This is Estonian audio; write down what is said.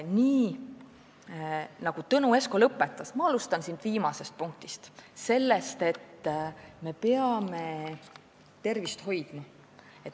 Ma alustan sellest, millega Tõnu Esko lõpetas: me peame tervist hoidma.